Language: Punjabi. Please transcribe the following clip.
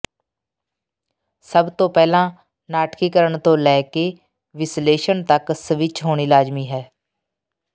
ਸਭ ਤੋਂ ਪਹਿਲਾਂ ਨਾਟਕੀਕਰਣ ਤੋਂ ਲੈ ਕੇ ਵਿਸ਼ਲੇਸ਼ਣ ਤੱਕ ਸਵਿੱਚ ਹੋਣੀ ਲਾਜ਼ਮੀ ਹੈ